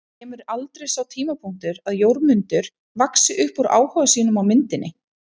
En kemur aldrei sá tímapunktur að Jórmundur vaxi upp úr áhuga sínum á myndinni?